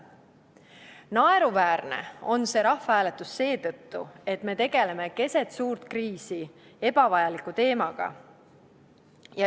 Naeruväärne on see rahvahääletus seetõttu, et me tegeleme keset suurt kriisi ebavajaliku teemaga.